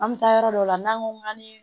An bɛ taa yɔrɔ dɔw la n'an ko k'an bɛ